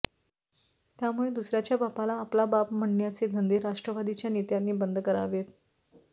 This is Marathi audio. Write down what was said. त्यामुळे दुसऱ्याच्या बापाला आपला बाप म्हणण्याचे धंदे राष्ट्रवादीच्या नेत्यांनी बंद करावेत